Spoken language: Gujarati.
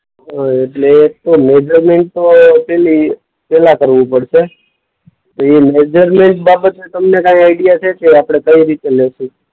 હ એટલે પણ મેજરમેન્ટ તો પહેલી, પહેલા કરવું પડશે. તો એ મેજરમેન્ટ બાબતે તમને કાંઈ આઈડિયા છે કે આપણે કઈ રીતે લેશું?